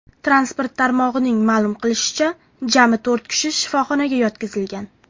Transport tarmog‘ining ma’lum qilishicha, jami to‘rt kishi shifoxonaga yotqizilgan.